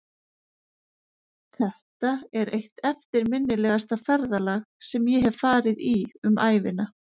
Þetta er eitt eftirminnilegasta ferðalag sem ég hef farið í um ævina.